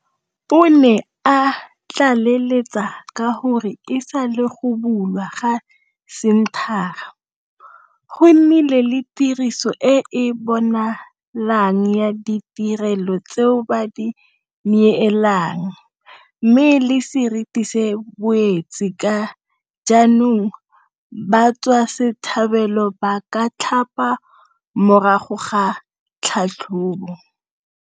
O ne a tlaleletsa ka gore e sale go bulwa ga senthara, go nnile le tiriso e e bonalang ya ditirelo tseo ba di neelang mme le seriti se boetse ka jaanong batswasetlhabelo ba ka tlhapa morago ga tlhatlhobo.